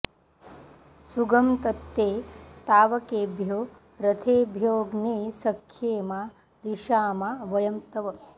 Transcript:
सु॒गं तत्ते॑ ताव॒केभ्यो॒ रथे॒भ्योऽग्ने॑ स॒ख्ये मा रि॑षामा व॒यं तव॑